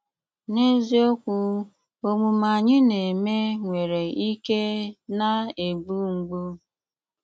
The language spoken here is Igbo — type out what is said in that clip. N'ézíokwú, ómùmé ányị́ ná-émé nwéré íké ná-égbú mgbú.